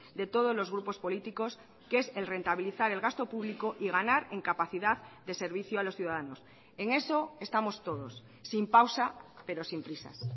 de todos los grupos políticos que es el rentabilizar el gasto público y ganar en capacidad de servicio a los ciudadanos en eso estamos todos sin pausa pero sin prisas